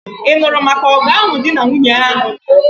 Ị nụrụ maka ọgụ ahụ di na nwunye ahụ lụrụ?